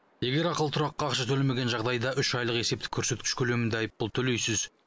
егер ақылы тұраққа ақша төлемеген жағдайда үш айлық есептік көрсеткіш көлемінде айыппұл төлейсіз